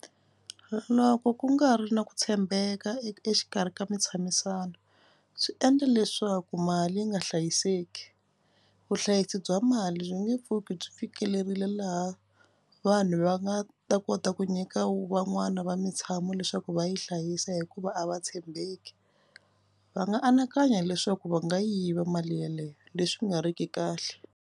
Loko ku nga ri na ku tshembeka exikarhi ka mintshamisano sei endla leswaku mali yi nga hlayiseki. Vuhlayisi bya mali byi nge pfuki byi fikelerile laha vanhu va nga ta kota ku nyika van'wana va mitshamo leswaku va yi hlayisa hikuva a va tshembeki. Va nga anakanya leswaku va nga yiva mali yaleyo leswi nga riki kahle.